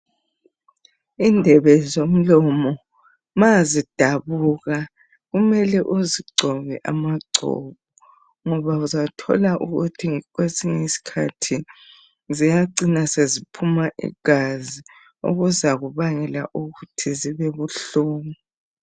Indlebe zomlomo ,mazidabuka kumele uzigcobe amagcobo .Ngoba uzathola ukuthi kwesinye isikhathi ziyacina seziphuma igazi okuzakubangela ukuthi zibebuhlungu.